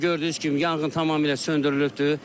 Hal-hazırda gördüyünüz kimi yanğın tamamilə söndürülübdür.